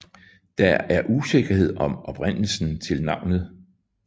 Der er usikkerhed om oprindelsen til navnet